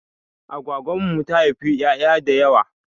Agwagwan mu ta haifa 'ya'ya da yawa.